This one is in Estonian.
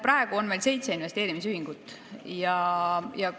Praegu on meil seitse investeerimisühingut.